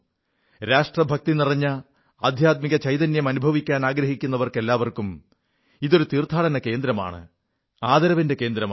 രാഷ്ട്രഭക്തിനിറഞ്ഞ ആധ്യാത്മിക ചൈതന്യം അനുഭവിക്കാനാഗ്രഹിക്കുന്ന എല്ലാപേർക്കും ഇതൊരു തീർത്ഥാടന കേന്ദ്രമാണ് ആദരവിന്റെ കേന്ദ്രമാണ്